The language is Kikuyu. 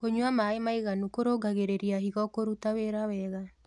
Kũnyua mae matherũ kũrũngagĩrĩrĩa hĩgo kũrũta wĩra wega